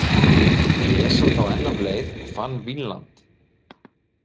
Blés hann þá enn af leið og fann Vínland.